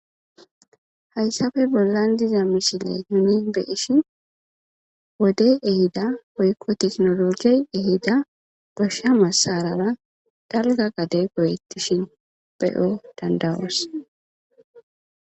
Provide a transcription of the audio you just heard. Hayssape bollan diza misiley nuni be'ishin wodey ehida woykko teknolojey ehida goshsha massarara dalga gade goyettishin be'o danda'os.